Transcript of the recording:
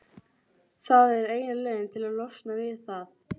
Það er eina leiðin til að losna við það.